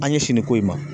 An ɲɛsin nin ko in ma